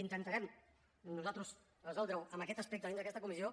intentarem nosaltres resoldre ho en aquest aspecte dins d’aquesta comissió